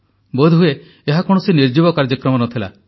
ବୋଧହୁଏ ଏହା କୌଣସି ନିର୍ଜୀବ କାର୍ଯ୍ୟକ୍ରମ ନ ଥିଲା